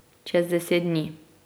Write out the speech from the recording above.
Čez deset dni.